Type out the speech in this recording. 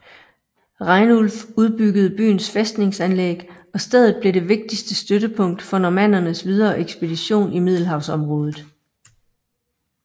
Rainulf udbyggede byens fæstningsanlæg og stedet blev det vigtigste støttepunkt for normannernes videre ekspansion i Middelhavsområdet